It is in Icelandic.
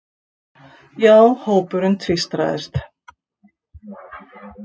Já, hópurinn tvístraðist.